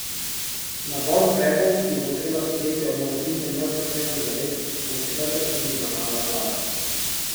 Nabor ukrepov, ki jih bo treba sprejeti ob morebitnem neupoštevanju zavez, bo v četrtek tudi obravnavala vlada.